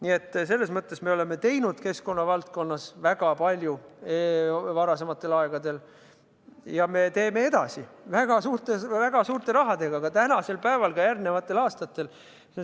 Nii et selles mõttes me oleme keskkonnavaldkonnas teinud varasemal ajal väga palju ja teeme ka edaspidi – väga suurte rahadega –, ka tänasel päeval, ka järgmistel aastatel.